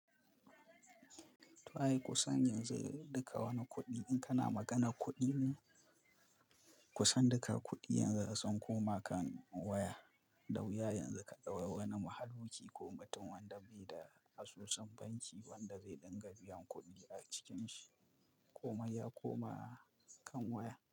Ai kusan yanzu duka wani kuɗi in kana maganar kuɗi ne? Kusan duka kuɗi yanzu an koma kan waya, da wuya yanzu ka ɗau wani mahaluki ko mutum wanda bai da asusun banki wanda zai dinga biyan kuɗi a cikinshi. Kuma ya koma kan waya.